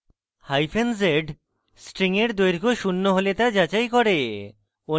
hyphen z string এর দৈর্ঘ্য শূন্য হলে তা যাচাই করে